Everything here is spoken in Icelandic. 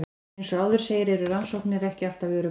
Eins og áður segir eru rannsóknir ekki alltaf öruggar.